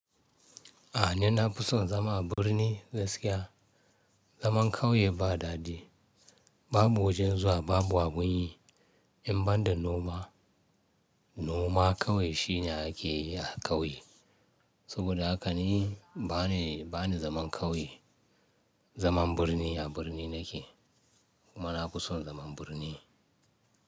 A ni na fi son zama a birni gaskiya. Zaman ƙauye ba dadi, babu wajen zuwa, babu abun yi. In ban da noma, noma kawai shi ne ake yi a ƙauye. Saboda haka ni bani, bani zaman ƙauye. Zaman birni a birni nake kuma na fi son zaman birni.